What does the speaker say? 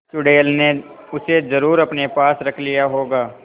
चुड़ैल ने उसे जरुर अपने पास रख लिया होगा